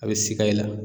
A bɛ sika i la